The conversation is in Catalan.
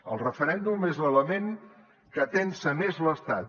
el referèndum és l’element que tensa més l’estat